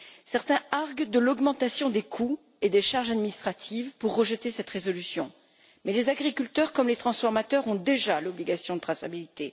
Certains arguent de l'augmentation des coûts et des charges administratives pour rejeter cette résolution, mais les agriculteurs comme les transformateurs ont déjà l'obligation de traçabilité.